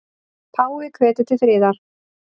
Páfi hvetur til friðar